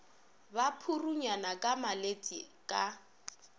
ba purunyana ka meletse ka